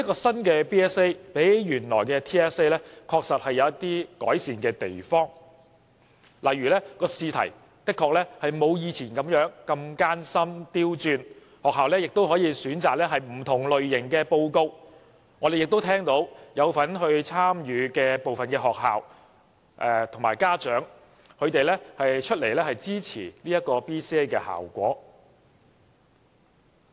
新的 BCA 比原來的 TSA 確實有一些改善的地方，例如試題不像以往艱深、刁鑽，學校可以選擇不同類型的報告等，我們也聽到有份參與的部分學校和家長表示支持 BCA 的效果。